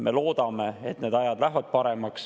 Me loodame, et aeg läheb paremaks.